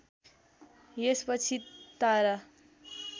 यसपछि तारा